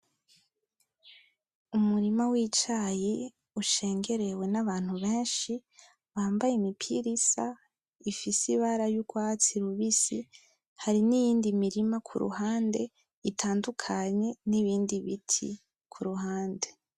Umurima w'icayi ushengerewe nabantu benshi bambaye imipira isa ifise ibara y'urwatsi rubisi hari niyindi mirima kuruhande itandukanye nibindi biti kuruhande